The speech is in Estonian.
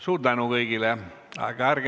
Suur tänu kõigile!